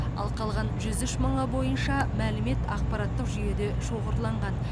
ал қалған жүз үш мыңы бойынша мәлімет ақпараттық жүйеде шоғырланған